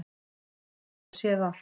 Hann hafði þá séð allt!